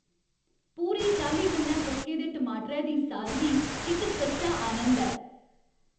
पूरी चाल्ली कन्नै पक्के दे टमाटरै दी सादगी इक सच्चा आनंद ऐ।